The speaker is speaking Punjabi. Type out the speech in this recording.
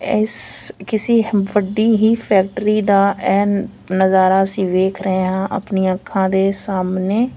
ਇਸ ਕਿਸੀ ਵੱਡੀ ਹੀ ਫੈਕਟਰੀ ਦਾ ਇਹ ਨਜ਼ਾਰਾ ਅਸੀਂ ਦੇਖ ਰਹੇ ਆ ਆਪਣੀਆਂ ਅੱਖਾਂ ਦੇ ਸਾਹਮਣੇ --